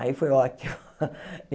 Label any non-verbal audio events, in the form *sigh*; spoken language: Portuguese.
Aí foi ótimo. *laughs*